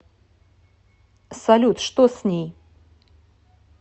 салют что с ней